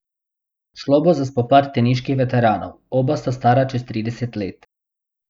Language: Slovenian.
Šlo bo za spopad teniških veteranov, oba sta stara čez trideset let.